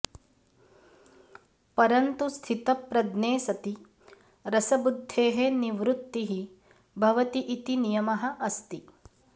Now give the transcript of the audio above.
परन्तु स्थितप्रज्ञे सति रसबुद्धेः निवृत्तिः भवति इति नियमः अस्ति